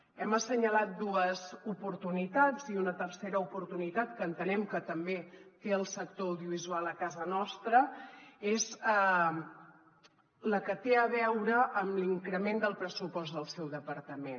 hem assenyalat dues oportunitats i una tercera oportunitat que entenem que també té el sector audiovisual a casa nostra és la que té a veure amb l’increment del pressupost del seu departament